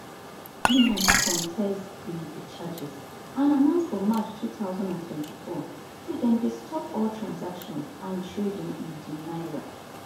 binance contest di di charges and announce for march two thousand and twenty-four say dem dey stop all transactions and trading in di naira